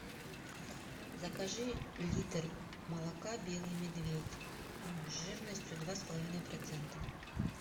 закажи литр молока белый медведь жирностью два с половиной процента